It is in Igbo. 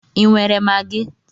Ị nwere Magi?